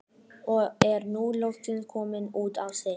Og er nú loksins kominn út á stétt.